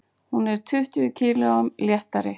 Hún er tuttugu kílóum léttari.